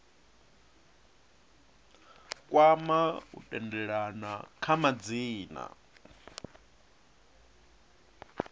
kwama u tendelana kha madzina